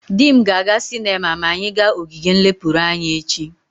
Di m ga-aga sinema ma anyi ga ogige nlepuru anya echi.